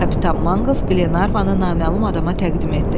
Kapitan Manqls Qlervanı naməlum adama təqdim etdi.